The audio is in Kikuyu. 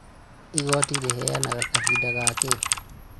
Igoti rĩheanaga kahinda gakĩĩ?